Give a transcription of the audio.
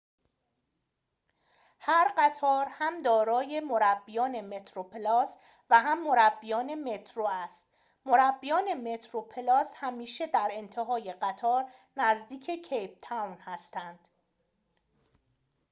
هر قطار هم دارای مربیان متروپلاس و هم مربیان مترو است مربیان مترو پلاس همیشه در انتهای قطار نزدیک کیپ تاون هستند